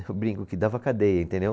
Eu brinco que dava cadeia, entendeu?